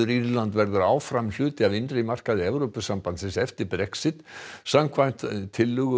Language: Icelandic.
Írland verður áfram hluti af innri markaði Evrópusambandsins eftir Brexit samkvæmt tillögu